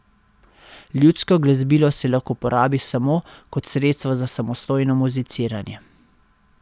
Ljudsko glasbilo se lahko uporabi samo kot sredstvo za samostojno muziciranje.